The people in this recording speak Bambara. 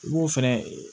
I b'o fɛnɛ